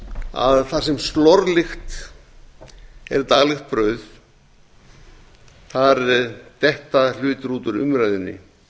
að þar sem slorlykt er daglegt brauð detta hlutir út úr umræðunni